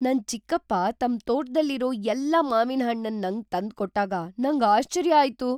ನನ್ ಚಿಕ್ಕಪ್ಪ ತಮ್ ತೋಟದಲ್ಲಿರೋ ಎಲ್ಲಾ ಮಾವಿನ ಹಣ್ಣನ್ ನಂಗ್ ತಂದ್ ಕೊಟ್ಟಾಗ ನಂಗ್ ಆಶ್ಚರ್ಯ ಆಯ್ತು.